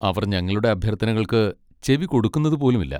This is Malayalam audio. അവർ ഞങ്ങളുടെ അഭ്യർത്ഥനകൾക്ക് ചെവികൊടുക്കുന്നതുപോലും ഇല്ല.